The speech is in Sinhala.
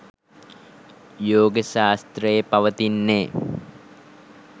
යෝග ශාස්ත්‍රයේ පවතින්නේ